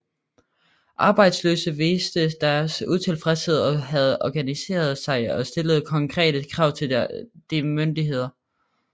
Arbejdsløse viste deres utilfredshed og havde organiseret sig og stillede konkrete krav til de lokale myndigheder